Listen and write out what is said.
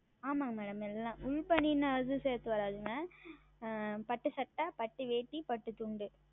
ஆமாம் Madam எல்லாம் உள் Baniyan அது சேர்த்து வராது பட்டு சட்டை பட்டு வேட்டி பட்டு துண்டு